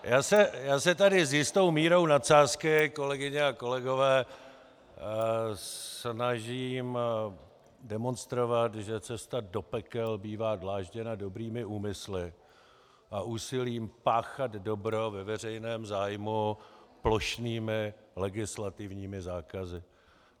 Já se tady s jistou mírou nadsázky, kolegyně a kolegové, snažím demonstrovat, že cesta do pekel bývá dlážděna dobrými úmysly a úsilím páchat dobro ve veřejném zájmu plošnými legislativními zákazy.